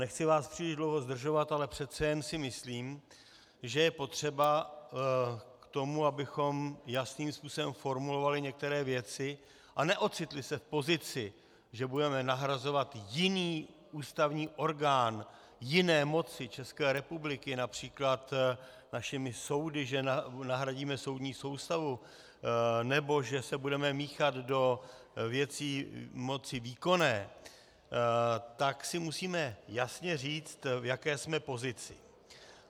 Nechci vás příliš dlouho zdržovat, ale přece jen si myslím, že je potřeba k tomu, abychom jasným způsobem formulovali některé věci a neocitli se v pozici, že budeme nahrazovat jiný ústavní orgán jiné moci České republiky, například našimi soudy že nahradíme soudní soustavu, nebo že se budeme míchat do věcí moci výkonné, tak si musíme jasně říct, v jaké jsme pozici.